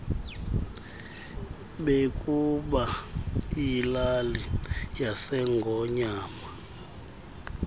bebuka ilali yasengonyama